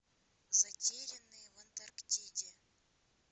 затерянные в антарктиде